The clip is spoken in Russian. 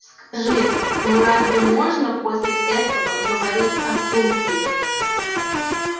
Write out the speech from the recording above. скажи ну разве можно после этого говорить о случае